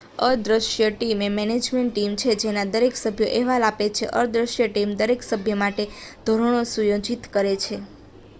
"""અદ્રશ્ય ટીમ" એ management team છે જેના દરેક સભ્યો અહેવાલ આપે છે. અદ્રશ્ય ટીમ દરેક સભ્ય માટે ધોરણો સુયોજિત કરે છે.